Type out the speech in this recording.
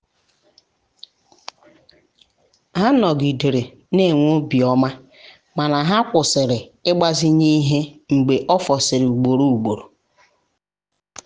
ha nọgidere um na enwe obiọma mana ha kwụsịrị ịgbazinye ihe mgbe ofusịrị ugboro ugboro.